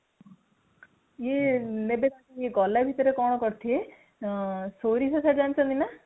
ଇଏ ନେବେ ତାଙ୍କୁ ଗଲା ଭିତରେ ଇଏ କଣ କରିଥିବେ ନା, ସୋରିଷ ତ ଜାଣିଛନ୍ତି ନା ?